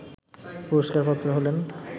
পুরস্কারপ্রাপ্তরা হলেন